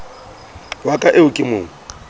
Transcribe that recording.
wa ka eo ke mo